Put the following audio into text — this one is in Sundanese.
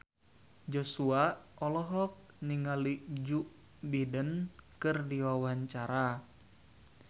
Joshua olohok ningali Joe Biden keur diwawancara